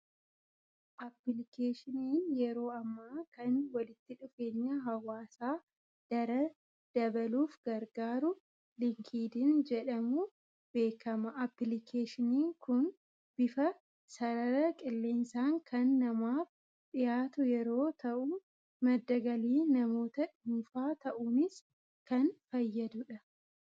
Aappilikeeshiniin yeroo ammaa kan walitti dhufeenya hawwaasaa daran dabaluuf gargaaru Liinkeedin jedhamuun beekama. Aappilikeeshiniin kun bifa sarara qilleensaan kan namaaf dhiyaatu yerooo ta'u, madda galii namoota dhuunfaa ta'uunis kan fayyadudha.